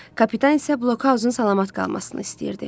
Kapitan isə blokhauzun salamat qalmasını istəyirdi.